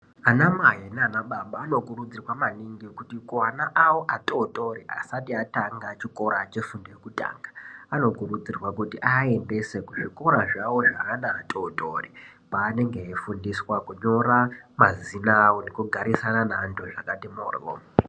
Anamai nanababa anokurudzirwa maningi kuti kuana awo atotori asati atanga chikora chefundo yekutanga anokuridzirwa kuti aendese kuzvikora zvawo zveana atotori kwaanenge eifudiswa kunyora mazina awo nekugararisana neantu zvakati mhoryo.